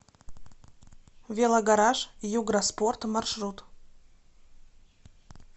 велогараж юграспорт маршрут